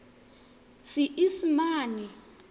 seesimane